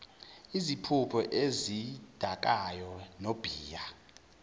iziphuzo ezidakayo nobhiya